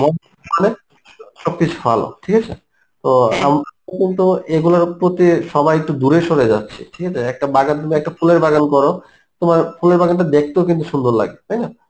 মানে সব কিছু ভালো ঠিক আছে তো আমরা কিন্তু এগুলোর প্রতি সবাই একটু দূরে সরে যাচ্ছি ঠিক আছে একটা বাগান তুমি একটা ফুলের বাগান করো তোমার ফুলের বাগানটা দেখতেও কিন্তু সুন্দর লাগবে তাই না